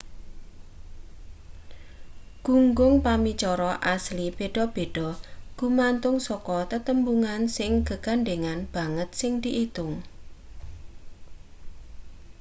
gunggung pamicara asli beda-beda gumantung saka tetembungan sing gegandhengan banget sing diitung